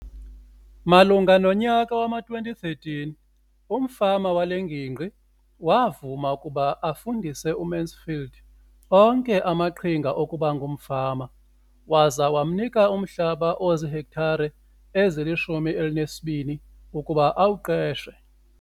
Malunga nonyaka wama-2013, umfama wale ngingqi wavuma ukuba afundise uMansfield onke amaqhinga okuba ngumfama waza wamnika umhlaba ozihektare ezili-12 ukuba awuqeshe.